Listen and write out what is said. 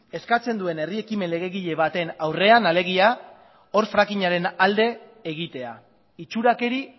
eskatzen duen herri ekimen legegile baten aurrean alegia hor fracking aren alde egitea itxurakeri